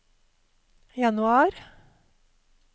januar